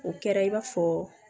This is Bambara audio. O kɛra i b'a fɔ